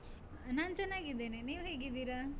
ನಾನ್ ಚೆನ್ನಾಗಿದ್ದೇನೆ, ನೀವು ಹೇಗಿದ್ದೀರಾ?